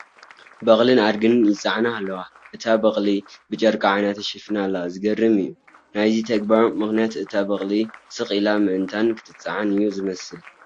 በቕልን ኣድግን ይፀዓና ኣለዋ፡፡ እቲ በቕሊ ብጨርቂ ዓይና ተሸፊና ኣላ፡፡ ዝገርም እዩ፡፡ ናይዚ ተግባር ምኽንያት እታ በቕሊ ስቕ ኢላ ምእንታን ክትፀዓን እዩ ዝመስል፡፡